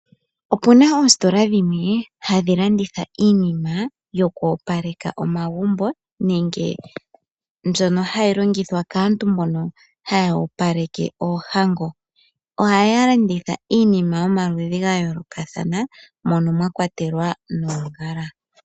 Opuna oostola dhimwe hadhi landitha iinima yoku opaleka omagumbo, nenge mbyono hayi longithwa kaantu mbono haya opaleke oohango. ohaya landitha iinima yomaludhi ga yoolokathana mono mwa kwatelwa noongala.